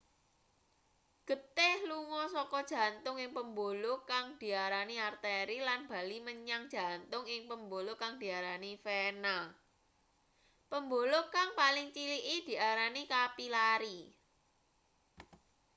geteh lunga saka jantung ing pembuluh kang diarani arteri lan bali menyang jantung ing pembuluh kang diarani vena pembuluh kang paling ciliki diarani kapilari